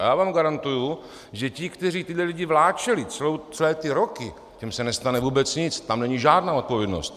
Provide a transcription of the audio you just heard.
A já vám garantuji, že ti, kteří tyto lidi vláčeli celé ty roky, těm se nestane vůbec nic, tam není žádná odpovědnost.